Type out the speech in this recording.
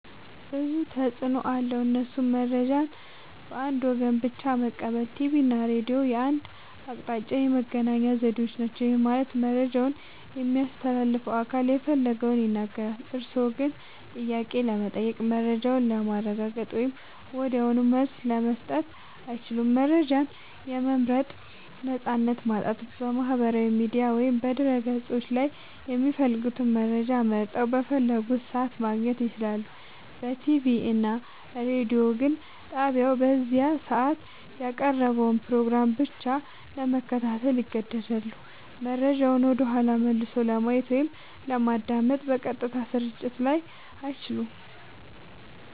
ብዙ ተፅኖ አለዉ እሱም :-መረጃን በአንድ ወገን ብቻ መቀበል ቲቪ እና ሬዲዮ የአንድ አቅጣጫ የመገናኛ ዘዴዎች ናቸው። ይህ ማለት መረጃውን የሚያስተላልፈው አካል የፈለገውን ይናገራል፤ እርስዎ ግን ጥያቄ ለመጠየቅ፣ መረጃውን ለማረጋገጥ ወይም ወዲያውኑ መልስ ለመስጠት አይችሉም። መረጃን የመምረጥ ነፃነት ማጣት በማህበራዊ ሚዲያ ወይም በድረ-ገጾች ላይ የሚፈልጉትን መረጃ መርጠው፣ በፈለጉት ሰዓት ማግኘት ይችላሉ። በቲቪ እና ሬዲዮ ግን ጣቢያው በዚያ ሰዓት ያቀረበውን ፕሮግራም ብቻ ለመከታተል ይገደዳሉ። መረጃውን ወደኋላ መልሶ ለማየት ወይም ለማዳመጥ (በቀጥታ ስርጭት ላይ) አይቻልም።